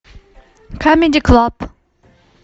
камеди клаб